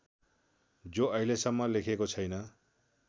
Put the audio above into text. जो अहिलेसम्म लेखिएको छैन